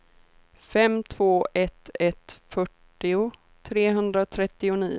fem två ett ett fyrtio trehundratrettionio